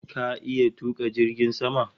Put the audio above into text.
Ka iya tuka jirgin sama?